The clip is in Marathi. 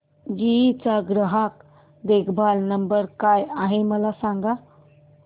जीई चा ग्राहक देखभाल नंबर काय आहे मला सांग